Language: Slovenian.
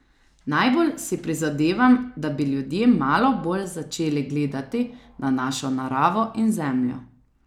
Najbolj si prizadevam, da bi ljudje malo bolj začeli gledati na našo naravo in zemljo.